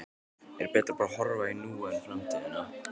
Er betra að horfa í núið en framtíðina?